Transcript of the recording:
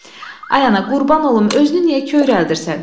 Ay ana, qurban olum, özünü niyə kövrəldirsən?